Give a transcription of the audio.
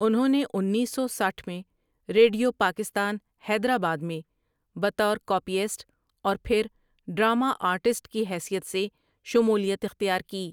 انہوں نے انیس سو سٹھ میں ریڈیو پاکستان حیدر آباد میں بطور کاپیسٹ اور پھر ڈرامہ آرٹسٹ کی حیثیت سے شمولیت اختیار کی۔